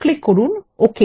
click করুন okay